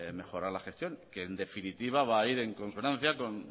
mejorar la gestión que en definitiva va a ir en consonancia con